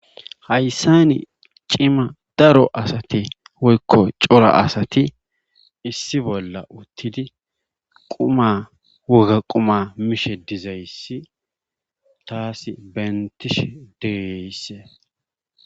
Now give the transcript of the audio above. Hayssan cima daro asati woykko cora asati issi bolla uttidi qumma wogga qumma mishe dizayssi taasi bentishe diyayssa.